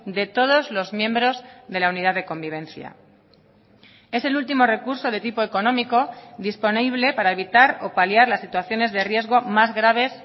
de todos los miembros de la unidad de convivencia es el último recurso de tipo económico disponible para evitar o paliar las situaciones de riesgo más graves